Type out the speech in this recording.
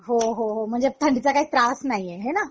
हो हो म्हणजे थंडीचा काही त्रास नाही आहे हेना